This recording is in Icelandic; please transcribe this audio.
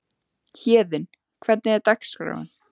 Héðinn, hvernig er dagskráin?